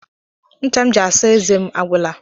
Ncha m ji asa eze m agwụla.